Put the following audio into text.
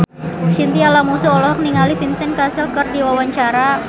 Chintya Lamusu olohok ningali Vincent Cassel keur diwawancara